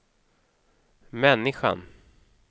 människan